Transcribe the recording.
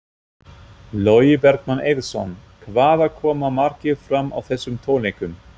Logi Bergmann Eiðsson: Hvað koma margir fram á þessum tónleikum?